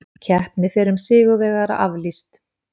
Keppni fyrrum sigurvegara aflýst